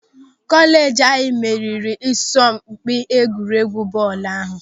Kọleeji anyị meriri n'asọmpị egwuregwu bọọlụ ahụ.